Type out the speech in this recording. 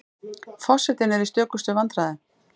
Forsetinn er í stökustu vandræðum.